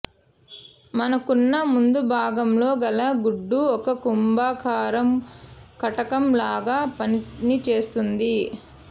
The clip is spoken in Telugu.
మనకన్ను ముందు భాగం లో గల గుడ్దు ఒక కుంభాకార కటకం లాగ పనిచేస్తుంది